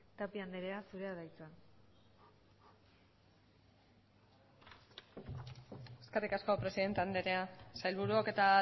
tapia andrea zurea da hitza eskerrik asko presidente andrea sailburuok eta